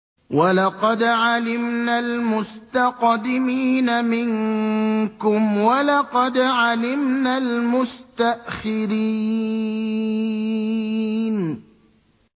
وَلَقَدْ عَلِمْنَا الْمُسْتَقْدِمِينَ مِنكُمْ وَلَقَدْ عَلِمْنَا الْمُسْتَأْخِرِينَ